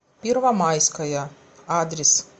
первомайская адрес